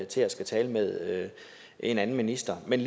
til at skulle tale med en anden minister men